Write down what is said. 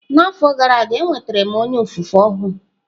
N'afọ gara aga, enwetara m onye ofufe ọhụụ.